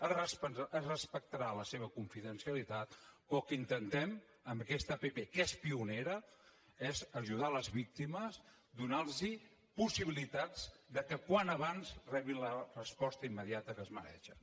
es respectarà la seva confidencialitat però el que intentem amb aquesta app que és pionera és ajudar les víctimes donar los possibilitats que com més aviat millor rebin la resposta immediata que es mereixen